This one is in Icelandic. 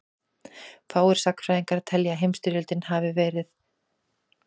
fáir sagnfræðingar telja að heimsstyrjöldin fyrri hafi verið óumflýjanleg